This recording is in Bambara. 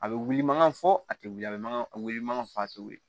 A bɛ wuli mankan fɔ a tɛ wuli a bɛ mankan wili mankan fɔ a tɛ wuli